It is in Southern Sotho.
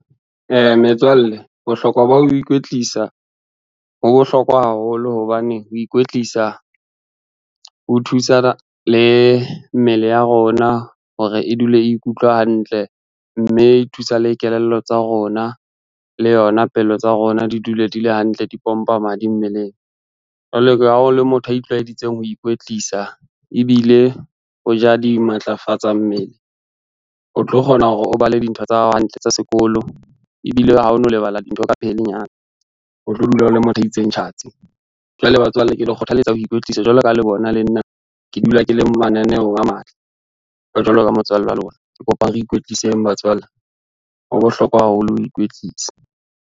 Metswalle bohlokwa ba ho ikwetlisa, ho bohlokwa haholo hobane ho ikwetlisa, ho thusa le mmele ya rona hore e dule e ikutlwa hantle, mme e thusa le kelello tsa rona le yona pelo tsa rona di dule di le hantle di pompa madi mmeleng. Ha o le motho ya itlwayeditseng ho ikwetlisa ebile o ja dimatlafatsa mmele, o tlo kgona hore o bale ntho tsa hao hantle tsa sekolo ebile ha ono lebala dintho ka pelenyana. O tlo dula o le motho a itseng tjhatsi, jwale batswalle ke le kgothalletsa ho ikwetlisa jwalo ka ha le bona le nna ke dula ke le mananeong a matle. Jwalo ka motswalle wa lona kopa re ikwtliseng batswalle, ho bohlokwa haholo ho ikwetlisa.